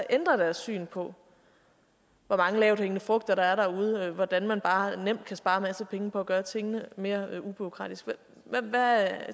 ændre deres syn på hvor mange lavthængende frugter der er derude hvordan man bare nemt kan spare en masse penge på at gøre tingene mere ubureaukratisk